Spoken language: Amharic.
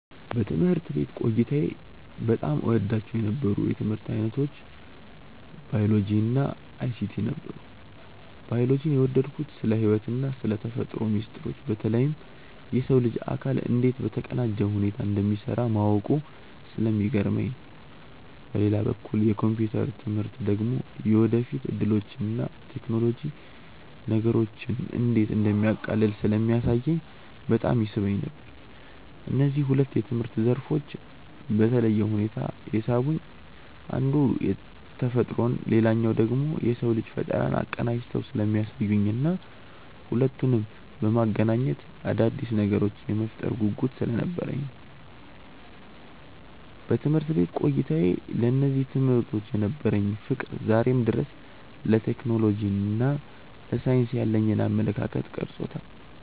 በትምህርት ቤት ቆይታዬ በጣም እወዳቸው የነበሩት የትምህርት ዓይነቶች ባዮሎጂ እና አይሲቲ ነበሩ። ባዮሎጂን የወደድኩት ስለ ሕይወትና ስለ ተፈጥሮ ሚስጥሮች በተለይም የሰው ልጅ አካል እንዴት በተቀናጀ ሁኔታ እንደሚሠራ ማወቁ ስለሚገርመኝ ነው። በሌላ በኩል የኮምፒውተር ትምህርት ደግሞ የወደፊት ዕድሎችንና ቴክኖሎጂ ነገሮችን እንዴት እንደሚያቃልል ስለሚያሳየኝ በጣም ይስበኝ ነበር። እነዚህ ሁለት የትምህርት ዘርፎች በተለየ ሁኔታ የሳቡኝ አንዱ ተፈጥሮን ሌላኛው ደግሞ የሰውን ልጅ ፈጠራ አቀናጅተው ስለሚያሳዩኝና ሁለቱንም በማገናኘት አዳዲስ ነገሮችን የመፍጠር ጉጉት ስለነበረኝ ነው። በትምህርት ቤት ቆይታዬ ለእነዚህ ትምህርቶች የነበረኝ ፍቅር ዛሬም ድረስ ለቴክኖሎጂና ለሳይንስ ያለኝን አመለካከት ቀርጾታል።